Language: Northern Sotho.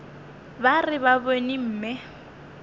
ba re ba bone mme